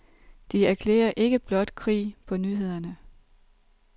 De erklærer ikke blot krig på nyhederne.